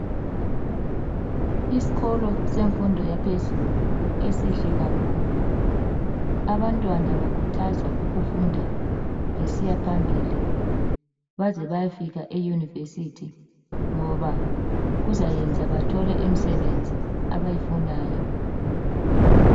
Isikolo semfundo yaphezulu esihle kakhulu, abantwana bakhuthazwa ukufunda besiya phambili baze bayefika eUniversity ngoba kuzayenza bathole imisebenzi abayifunayo.